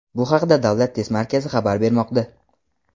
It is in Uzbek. Bu haqda Davlat test markazi xabar bermoqda.